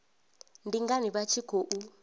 ndi ngani vha tshi khou